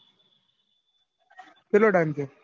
કેટલો time થયો?